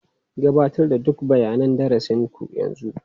Gabatar da duk bayanan darasin ku yanzu.